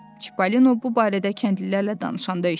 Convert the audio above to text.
Çipollino bu barədə kəndlilərlə danışanda eşitmişdi.